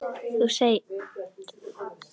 Þú þegir.